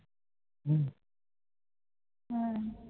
হম